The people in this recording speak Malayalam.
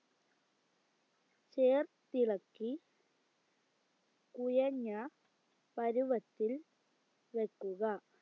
ചേർത്തിളക്കി കുഴഞ്ഞ പരുവത്തിൽ വെക്കുക